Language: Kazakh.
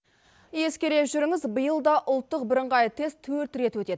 ескере жүріңіз биыл да ұлттық бірыңғай тестілеу төрт рет өтеді